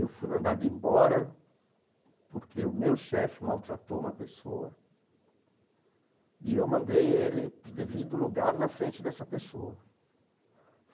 Eu fui mandado embora porque o meu chefe maltratou uma pessoa e eu mandei ele para o devido lugar na frente dessa pessoa.